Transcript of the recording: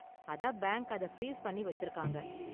அதான் பேங்க் அதை ஃப்ரீஸ் பண்ணி வச்சிருக்காங்க.